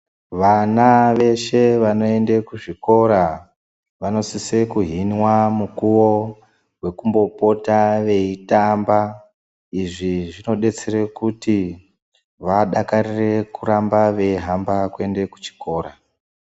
Vana veshe vanoende kuzvikora vanosise kuhinwa mukuwo wekumbopota veitamba. Izvi zvinodetsere kuti vadakarire kuramba veihamba kuende kuchikora.